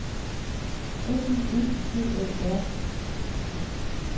N Y E G A A R D